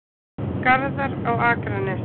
Garðar á Akranesi.